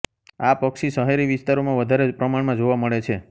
આ પક્ષી શહેરી વિસ્તારોમાં વધારે પ્રમાણમાં જોવા મળે છે